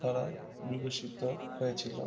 দ্বারা বিবেচিত হয়েছিলো